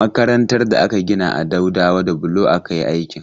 Makarantar da aka gina a Daudawa da bulo aka yi aikin.